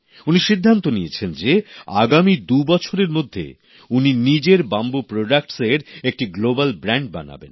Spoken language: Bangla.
উনি সিদ্ধান্ত নিয়েছেন যে আগামী দুবছরের মধ্যে উনি নিজের বাঁশ থেকে উৎপাদিত সামগ্রীর একটি গ্লোবাল ব্র্যান্ড বানাবেন